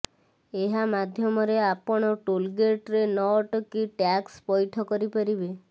ଏହା ମାଧ୍ୟମରେ ଆପଣ ଟୋଲ୍ ଗେଟ୍ରେ ନ ଅଟକି ଟ୍ୟାକ୍ସ ପଇଠ କରିପାରିବେ